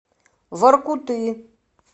воркуты